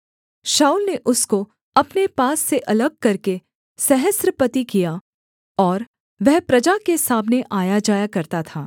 शाऊल ने उसको अपने पास से अलग करके सहस्त्रपति किया और वह प्रजा के सामने आयाजाया करता था